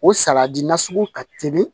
O sagadi nasugu ka teli